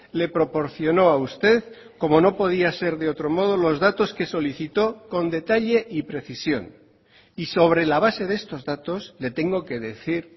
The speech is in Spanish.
le proporcionó a usted como no podía ser de otro modo los datos que solicitó con detalle y precisión y sobre la base de estos datos le tengo que decir